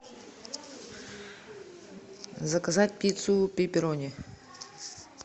заказать пиццу пепперони